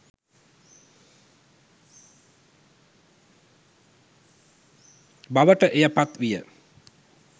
බවට එය පත් විය.